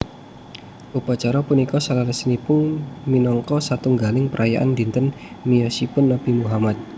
Upacara punika saleresipun minangka satunggaling perayaan dinten miyosipun Nabi Muhammad